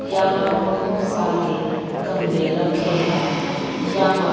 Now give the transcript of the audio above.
यहां बहोत सारे गमले रखे हैं यहां--